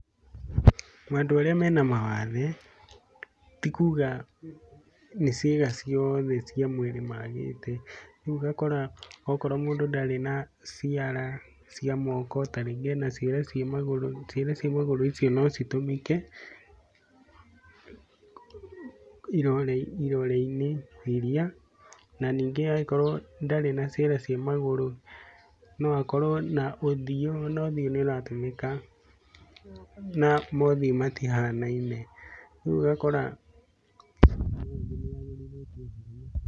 Andũ arĩa mena mawathe ti kuuga atĩ nĩ ciĩga ciothe cia mũĩrĩ maagĩte, nĩũgakora okorwo mũndũ ndarĩ na ciara cia moko ta rĩngĩ ena ciara cia magũrũ ciara cia maguro icio nocitũmĩke iroreinĩ na nĩngi angĩkorwo ndarĩ na ciara cia magũrũ no akorwo na ũthiũ na ona ũthiũ nĩũratũmĩka na mothiũ matihanaine.